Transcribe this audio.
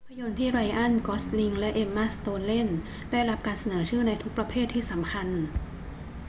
ภาพยนตร์ที่ไรอัน กอสลิงและเอ็มม่า สโตนเล่นได้รับการเสนอชื่อในทุกประเภทที่สำคัญ